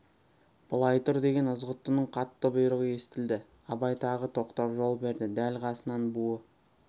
былай тұр деген ызғұттының қатты бұйрығы естілді абай тағы тоқтап жол берді дәл қасынан буы